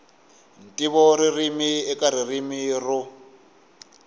ntivo ririmi eka ririmi ro